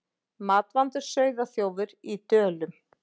Matvandur sauðaþjófur í Dölum